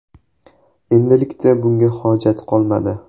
Endilikda bunga hojat qolmadi.